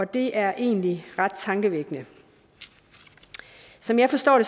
det er egentlig ret tankevækkende som jeg forstår